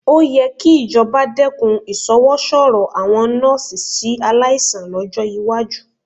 Ó yẹ kí ìjọba dẹ́kun ìṣọwọ́sọ̀rọ̀ àwọn nọ́ọ́sì sí aláìsàn lọ́jọ́ iwájú